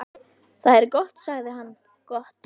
Það er gott sagði hann, gott